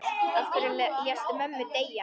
Af hverju léstu mömmu deyja?